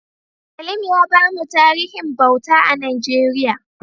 Salim ya bamu tarihin bauta a Najeriya.